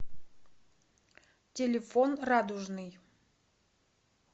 телефон радужный